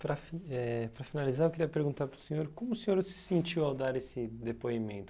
Para fi eh para finalizar, eu queria perguntar para o senhor como o senhor se sentiu ao dar esse depoimento?